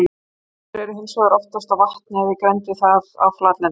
Endur eru hins vegar oftast á vatni eða í grennd við það á flatlendi.